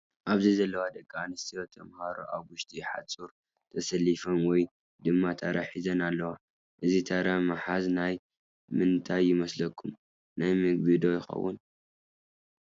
ኣብዚ ዘለዋ ደቂ ኣንስትዮ ተምሃሮ ኣብ ውሽጢ ሓፁር ተሰሊፈን ወይ ድማ ታራ ሒዘን ኣለዋ። እዚ ታራ ምሓዝ ናይ ምንታይ ይመስለኩም። ናይ ምግቢ ዶ ይከውን